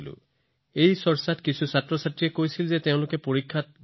এই আলোচনাৰ সময়ত কিছুমান শিক্ষাৰ্থীয়ে কৈছিল যে তেওঁলোকে পৰীক্ষাত গণিতক ভয় কৰে